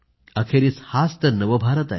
अखेरीस हाच तर नव भारत आहे